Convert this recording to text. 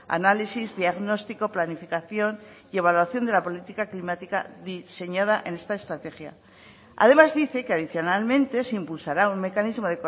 análisis diagnóstico planificación y evaluación de la política climática diseñada en esta estrategia además dice que adicionalmente se impulsará un mecanismo